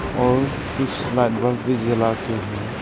और कुछ light bulb भी जलाके है।